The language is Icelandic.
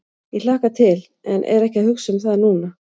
Ég hlakka til en er ekki að hugsa um það núna.